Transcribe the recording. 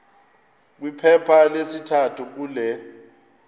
kwiphepha lesithathu kule